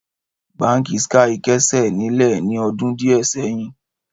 Báńkì Skye kẹ́sẹ̀ nílẹ̀ ní ọdún díẹ̀ sẹ́yìn.